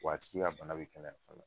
Wa a tigi ka bana bi kɛnɛya fana